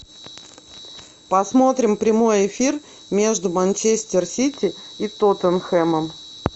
посмотрим прямой эфир между манчестер сити и тоттенхэмом